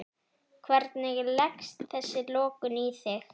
Hvernig leggst þessi lokun í þig?